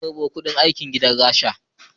An karbo kuɗin aikin gidan rasha